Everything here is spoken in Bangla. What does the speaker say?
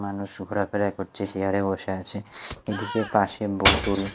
মানুষ ঘুরাফেরা করছে সেয়ার -এ বসে আছে এদিকে পাশে বোতল।